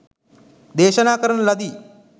දේශනා කරන ලදි.